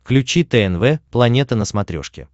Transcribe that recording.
включи тнв планета на смотрешке